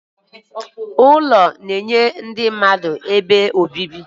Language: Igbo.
Ụlọ na-enye ndị mmadụ ebe obibi.